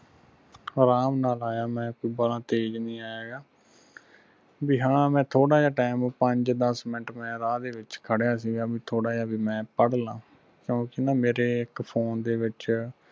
ਅਰਾਮ ਨਾਲ ਆਇਆ ਮੈਂ ਕੋਈ ਬਾਹਲਾ ਤੇਜ ਨਹੀਂ ਆਇਆ ਹੈਗਾ ਬਈ ਹਾਂ ਮੈਂ ਥੋੜ੍ਹਾ ਜਾ time ਪੰਜ ਦਸ ਮਿੰਟ ਮੈਂ ਰਾਹ ਦੇ ਵਿਚ ਖਰਿਆ ਸੀਗਾ ਬਈ ਥੋੜ੍ਹਾ ਜਾ ਬਈ ਮੈਂ ਪੜ੍ਹ ਲਾ ਮੇਰੇ phone ਦੇ ਵਿਚ